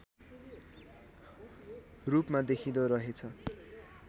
रूपमा देखिँदो रहेछ